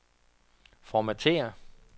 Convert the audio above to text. formatér